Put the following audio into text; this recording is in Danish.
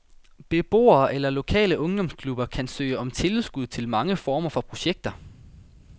Beboere eller lokale ungdomsklubber kan søge om tilskud til mange former for projekter.